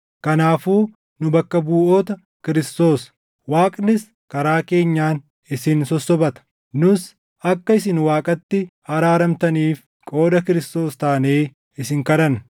Kanaafuu nu bakka buʼoota Kiristoos; Waaqnis karaa keenyaan isin sossobata; nus akka isin Waaqatti araaramtaniif qooda Kiristoos taanee isin kadhanna.